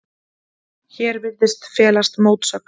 Hér virðist felast mótsögn.